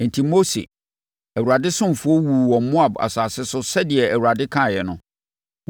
Enti Mose, Awurade ɔsomfoɔ wuu wɔ Moab asase so sɛdeɛ Awurade kaeɛ no.